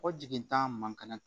Ko jigintan man kɛnɛ